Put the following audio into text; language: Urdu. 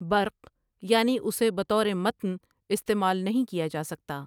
برق یعنی اُسے بطورِ متن استعمال نہیں کیا جاسکتا ہے ۔